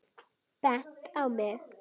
Bent á mig!